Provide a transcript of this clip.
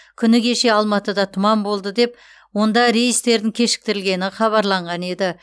күні кеше алматыда тұман болды деп онда рейстердің кешіктірілгені хабарланған еді